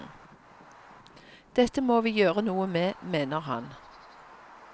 Dette må vi gjøre noe med, mener han.